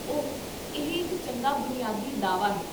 ਓਹ, ਇਹ ਇੱਕ ਚੰਗਾ ਬੁਨਿਆਦੀ ਦਾਅਵਾ ਹੈ